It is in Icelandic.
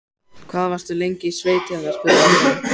Hvað varstu lengi í sveit hérna? spurði Valdimar.